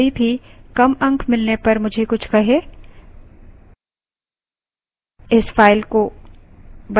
मैं नहीं चाहती कि कोई भी कम अंक मिलने पर मुझे कुछ कहे